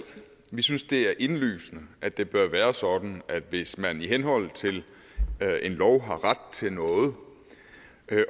vi synes det er indlysende at det bør være sådan at hvis man i henhold til en lov har ret til noget